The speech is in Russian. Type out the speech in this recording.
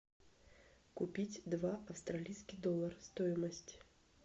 купить два австралийских доллара стоимость